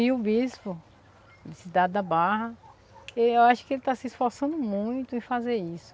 E o bispo de Cidade da Barra, eu acho que ele está se esforçando muito em fazer isso.